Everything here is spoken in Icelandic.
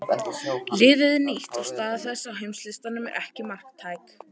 Liðið er nýtt og staða þess á heimslistanum er ekki marktæk.